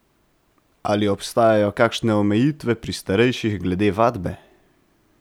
Ali obstajajo kakšne omejitve pri starejših glede vadbe?